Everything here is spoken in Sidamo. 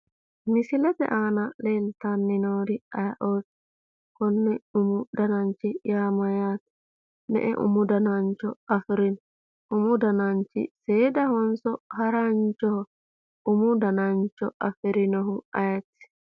Misilete aana leeltanni noori ayiioti ? Koni umi dananchi yaa mayate? Me'e umu danancho afirino ? Umu dananchi seedahonso haranchoho? Umu danancho afirinohu ayeeti